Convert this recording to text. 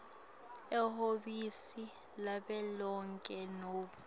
ehhovisi lavelonkhe nobe